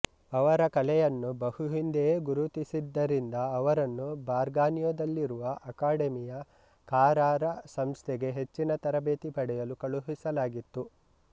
ಅವರ ಕಲೆಯನ್ನು ಬಹು ಹಿಂದೆಯೇ ಗುರುತಿಸಿದ್ದರಿಂದ ಅವರನ್ನು ಬರ್ಗಾನಿಯೊದಲ್ಲಿರುವ ಅಕಾಡಮಿಯ ಕಾರಾರ ಸಂಸ್ಥೆಗೆ ಹೆಚ್ಚಿನ ತರಬೇತಿ ಪಡೆಯಲು ಕಳುಹಿಸಲಾಗಿತ್ತು